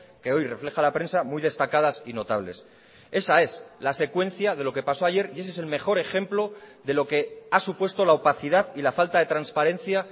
que hoy refleja la prensa muy destacadas y notables esa es la secuencia de lo que pasó ayer y ese es el mejor ejemplo de lo que ha supuesto la opacidad y la falta de transparencia